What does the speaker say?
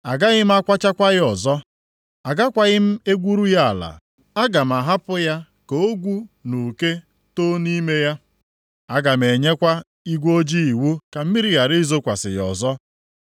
Agaghị m akwachakwa ya ọzọ. Agakwaghị m egwuru ya ala, aga m ahapụ ya ka ogwu na uke too nʼime ya. Aga m enyekwa igwe ojii iwu ka mmiri ghara izokwasị ya ọzọ.”